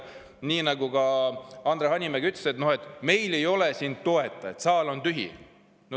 Nii nagu ka Andre Hanimägi ütles, meil ei ole siin toetajaid, saal on tühi.